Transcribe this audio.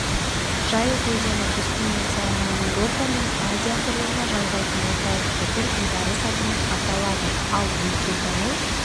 жайық өзені үстінен салынған еуропа мен азия құрлығына жалғайтын орталық көпір бейбарыс атымен аталады ал өлкетану